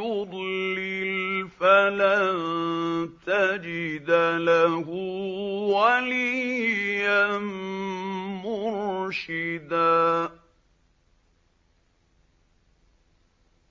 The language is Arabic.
يُضْلِلْ فَلَن تَجِدَ لَهُ وَلِيًّا مُّرْشِدًا